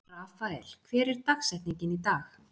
Rafael, hver er dagsetningin í dag?